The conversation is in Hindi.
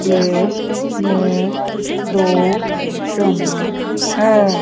मेज में दो चम्मच हैं।